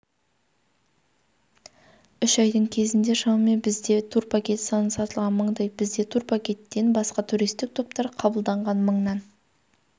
үш айдың кезінде шамамен бізде турпакет саны сатылған мыңдай бізде турпакеттен басқа туристік топтар қабылданған мыңнан